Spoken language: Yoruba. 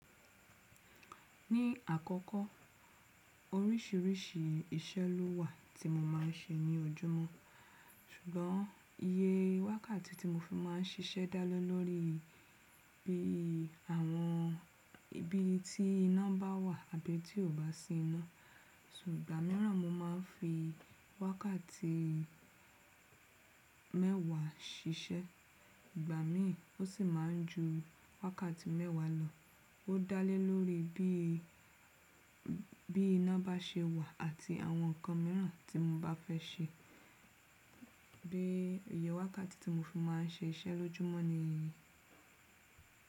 Ní àkọ́kọ́ orísìírísìí iṣẹ́ ló wà tí mo máa ń ṣe ní ojúmọ́, ṣùgbọ́n iye wákàtí tí mo fi máa ń ṣiṣẹ́ dá lé lórí bí àwọn ibi tí iná bá wà àbí tí kò bá sí iná. Ṣùgbọ́n ìgbà míràn mo máa ń fi wákàtí mẹ́wàá ṣiṣẹ́, ìgbà mi ò sì máa ń ju wákàtí mẹ́wàá lọ. Ó dá lé lórí bí, bí iná bá ṣe wà àti àwọn ǹkan míràn tí mo bá fẹ́ ṣe. Bí iye wákàtí tí mo fi máa ń ṣe iṣẹ́ lójúmọ́ ni yìí.